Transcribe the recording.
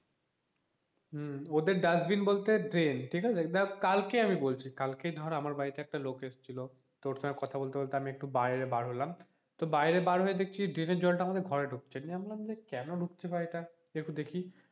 হম ওদের ডাস্টবিন বলতে ড্রেন ঠিক আছে এটা কালকে আমি বলছি কালকে ধর আমার বাড়িতে একটা লোক এসেছিল ওর সঙ্গে কথা বলতে বলতে আমি একটু বাইরে বার হলাম তো বাইরে বার হয়ে দেখছি ড্রেনের জলটা আমাদের ঘরে ঢুকছে এমনি জানলাম যে কেন ঢুকতে পারে একটু দেখি,